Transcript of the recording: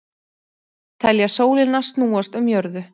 Telja sólina snúast um jörðu